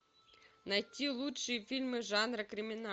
найти лучшие фильмы жанра криминал